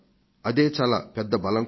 ఇదే చాలా పెద్ద బలం కూడా